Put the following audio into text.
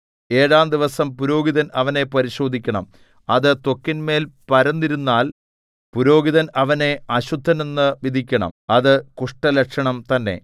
ഏഴാം ദിവസം പുരോഹിതൻ അവനെ പരിശോധിക്കണം അത് ത്വക്കിന്മേൽ പരന്നിരുന്നാൽ പുരോഹിതൻ അവനെ അശുദ്ധനെന്നു വിധിക്കണം അത് കുഷ്ഠലക്ഷണം തന്നെ